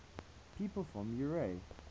people from eure